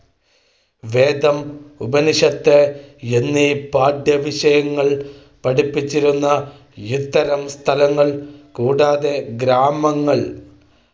വേദം, ഉപനിഷത്ത് എന്നീ പാഠ്യവിഷയങ്ങൾ പഠിപ്പിച്ചിരുന്ന ഇത്തരം സ്ഥലങ്ങൾ കൂടാതെ ഗ്രാമങ്ങൾ